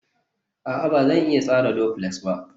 a'a, Ba zan iya tsara duflex ba